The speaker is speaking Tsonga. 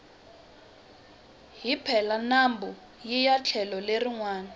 hi pela nambu hiya etlhelo leri nwana